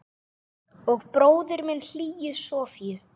Og bróðir minn hlýju Sofíu.